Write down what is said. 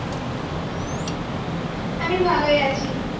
আমি ভালোই আছি।